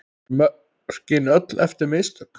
Voru mörkin öll eftir mistök?